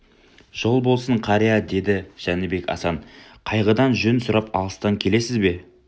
жол болсын қария деді жәнібек асан қайғыдан жөн сұрап алыстан келесіз бе